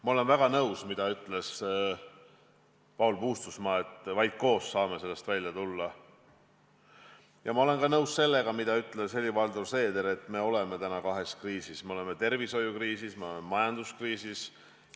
Ma olen väga nõus sellega, mida ütles Paul Puustusmaa, et vaid koos saame sellest välja tulla, ja ma olen nõus ka sellega, mida ütles Helir-Valdor Seeder, et oleme täna kahes kriisis: me oleme tervishoiukriisis ja me oleme majanduskriisis.